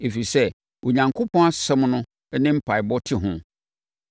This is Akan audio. Ɛfiri sɛ, Onyankopɔn asɛm no ne mpaeɛbɔ te ho.